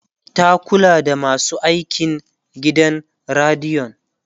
ta Kula da masu aikin gidan radiyon